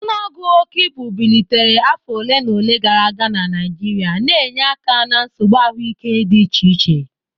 Ọnụọgụ oke ibu bilitere afọ ole na ole gara aga na Naijiria, na-enye aka na nsogbu ahụike dị iche iche.